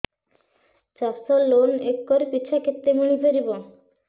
ଚାଷ loan acre ପିଛା କେତେ ମିଳି ପାରିବ